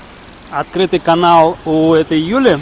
открытый канал у этой юли